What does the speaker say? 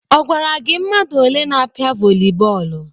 Ọ gwara gị mmadụ ole n'apịa vọlị bọọlụ?